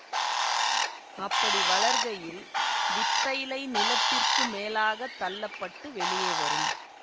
அப்படி வளர்கையில் வித்தைலை நிலத்திற்கு மேலாக தள்ள பட்டு வெளியே வரும்